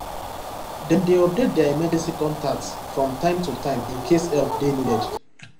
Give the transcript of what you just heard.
dem dey update their emergency contact from time to time in case help dey needed